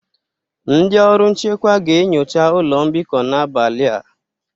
Ndị ọrụ nchekwa ga-enyocha ụlọ mbikọ n'abalị a